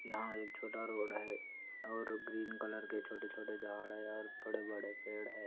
यहाँ एक छोटा रोड है और ग्रीन कलर के छोटे छोटे झाड़ है और बड़े बड़े पेड़ है और पानी है और एक उह घर है और सीढियाँ है और पीछे बड़ा बड़ा पहाड़ है आसमान है।